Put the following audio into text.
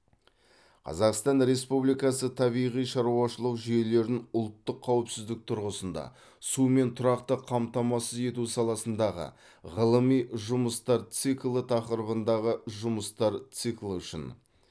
қазақстан республикасы табиғи шаруашылық жүйелерін ұлттық қауіпсіздік тұрғысында сумен тұрақты қамтамасыз ету саласындағы ғылыми жұмыстар циклі тақырыбындағы жұмыстар циклі үшін